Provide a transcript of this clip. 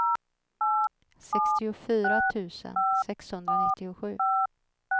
sextiofyra tusen sexhundranittiosju